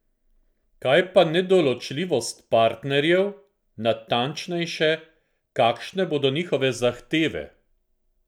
Kaj pa nedoločljivost partnerjev, natančneje, kakšne bodo njihove zahteve?